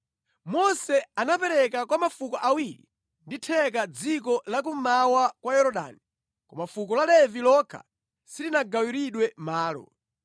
Mose anapereka kwa mafuko awiri ndi theka dziko la kummawa kwa Yorodani, koma fuko la Levi lokha silinagawiridwe malo.